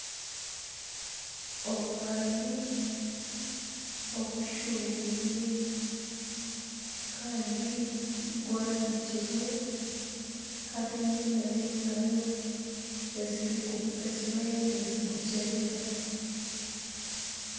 Omwani ogushushubwire kandi gwanikirwe harimu nana engaro ezibayo nizigukyebera.